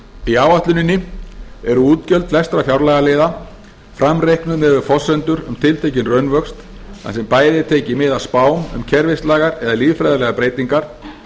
í áætluninni eru útgjöld flestra fjárlagaliða framreiknuð miðað við forsendur um tiltekinn raunvöxt þar sem bæði er tekið mið af spám um kerfislægar eða lýðfræðilegar breytingar